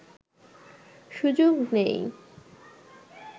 সুযোগ নেই